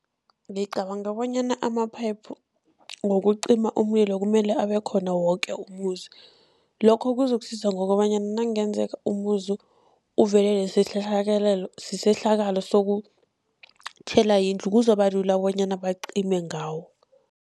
Ngicabanga bonyana amaphayiphu wokucima umlilo kumele abekhona woke umuzi, lokho kuzokusiza ngokobanyana nakungenzeka umuzi uvelelwe sisehlakalo sokutjhelwa yindlu, kuzokuba lula bonyana bacime ngawo.